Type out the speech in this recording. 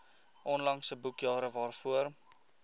onlangse boekjare waarvoor